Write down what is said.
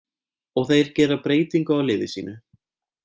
Og þeir gera breytingu á liði sínu.